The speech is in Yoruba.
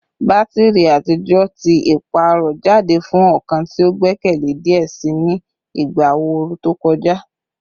Batiri atijọ ti paarọ jade fun ọkan ti o gbẹkẹle diẹ sii ni igba ooru to kọja